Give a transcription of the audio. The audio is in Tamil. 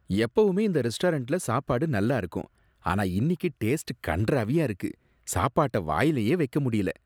எப்பவுமே இந்த ரெஸ்டாரண்ட்ல சாப்பாடு நல்லா இருக்கும், ஆனா இன்னிக்கு டேஸ்ட் கண்றாவியா இருக்கு, சாப்பாட்ட வாயிலயே வைக்க முடியல.